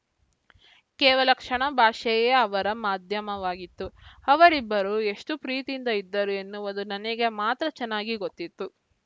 ಕೇವಲ ಕಣ್ಣ ಭಾಷೆಯೇ ಅವರ ಮಾಧ್ಯಮವಾಗಿತ್ತು ಅವರಿಬ್ಬರು ಎಷ್ಟು ಪ್ರೀತಿಯಿಂದ ಇದ್ದರು ಎನ್ನುವುದು ನನಗೆ ಮಾತ್ರ ಚೆನ್ನಾಗಿ ಗೊತ್ತಿತ್ತು